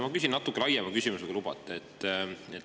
Ma küsin natuke laiema küsimuse, kui lubate.